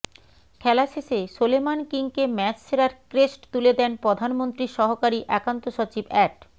খেলা শেষে সোলেমান কিংকে ম্যাচ সেরার ক্রেস্ট তুলে দেন প্রধানমন্ত্রীর সহকারী একান্ত সচিব অ্যাড